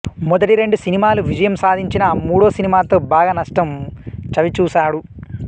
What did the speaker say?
మొదటి రెండు సినిమాలు విజయం సాధించినా మూడో సినిమాతో బాగా నష్టం చవిచూశాడు